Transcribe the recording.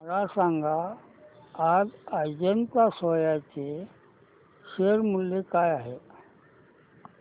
मला सांगा आज अजंता सोया चे शेअर मूल्य काय आहे